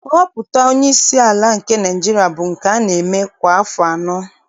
Nhọpụta onyeisi ala nke Naịjirịa bụ nke a na-eme kwa afọ anọ